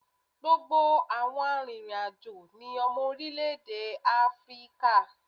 Gbogbo àwọn arìnrìn-àjò ni ọmọ orílẹ̀ èdè Áfíríkà.